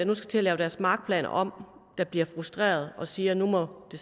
nu skal til at lave deres markplaner om der bliver frustrerede og siger at nu må det